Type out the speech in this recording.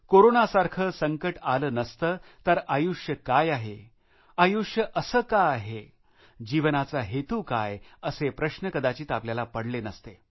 कोरोनासारखे संकट आले नसते तर आयुष्य काय आहे आयुष्य असे का आहे जीवनाचा हेतू काय असे प्रश्न कदाचित आपल्याला पडले नसते